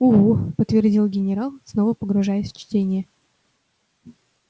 угу подтвердил генерал снова погружаясь в чтение